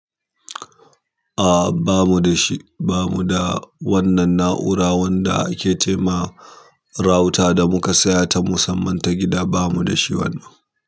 A'a, ba mu da shi. Ba mu da wannan na'ura wanda ake ce ma router da muka saya ta musamman ta gida. Ba mu da shi wannan.